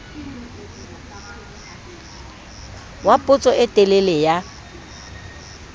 wa potso e telele ya